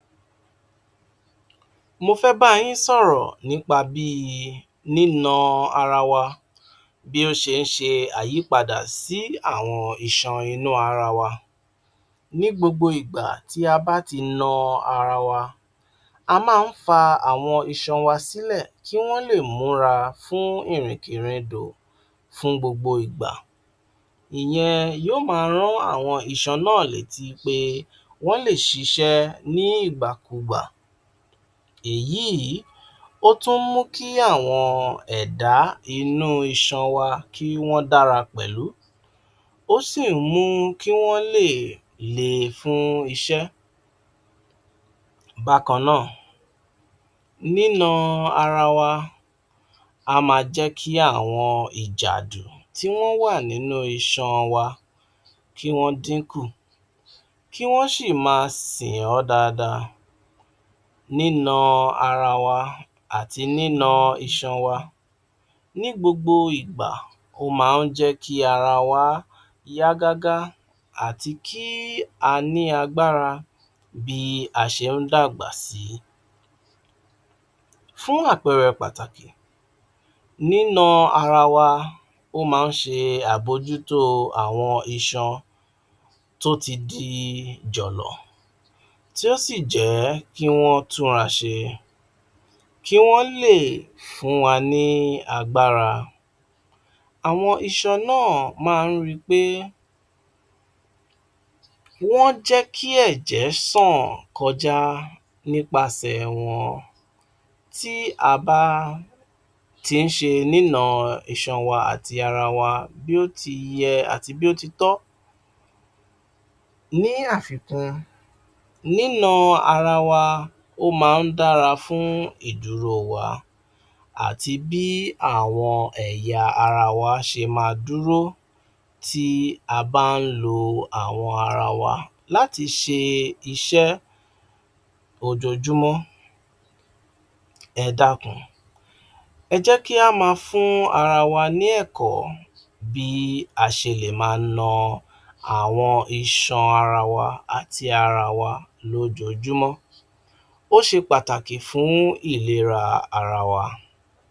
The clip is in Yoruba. Mo fẹ́ bá yín sọ̀rọ̀ nípa bíi nínà ara wa, bí ó ṣe ń ṣe àyípadà sí àwọn ìṣọ̀n inú ara wa. Ní gbogbo igba tí a bá ti naa ara wa, a ń má fa àwọn iṣọn wa sílẹ̀, kí wọ́n lè mura fún ìríkìn-ríndò fún gbogbo igba. Ìyẹn yóò máa rò ní àwọn iṣọn náà létí pé wọ́n lè sì ṣe ní ìgbà kú gbà. Èyí ò tún mú kí àwọn ẹ̀dá inú iṣọn wa kí wọ́n dàra pẹ̀lú, ó sì mú kí wọ́n lè lè fún iṣẹ́. Bákannáà, nínà ara wa á má jẹ́ kí àwọn ìjàdù tí wọ́n wà inú iṣọn wa kí wọ́n dín kù, kí wọ́n sì máa sin ún dáadáa. Nínà ara wa àti nínà iṣọn wa ní gbogbo igba, ó ń jẹ́ kí ara wa yá gágà, àti kí a ní agbára bí a ṣe ń dàgbà sí. Fún àpẹrẹ pàtàkì, nínà ara wa ó ń má ṣe àmọ̀júto àwọn iṣọn tó ti di jòló, tó sì jẹ́ kí wọ́n tún ra ṣe kí wọ́n lè fún wa ní agbára. Àwọn iṣọn náà máa ń rí pé wọ́n jẹ́ kí ẹjẹ̀ ṣọ́n kọjá, nipa ṣe wọ́n. Tí a bá ń ti ṣe nínà iṣọn wa àti ara wa bí ó ti yé àti bẹ́ẹ̀ ó tí tó. Ní àfikún, nínà ara wa ó ń máa dára fún ìdúró wa àti bí àwọn ẹ̀yà ara wa ṣe máa dúró tí a bá ń lo àwọn ara wa láti ṣe iṣẹ́ ojoojúmọ́. Ẹ̀dákun, ẹjẹ̀ kí a máa fún ara wa ní ẹ̀kọ́ bí a ṣe lè máa nà àwọn iṣọn ara wa àti ara wa lojoojúmọ́. Ó ṣe pàtàkì fún ilera ara wa.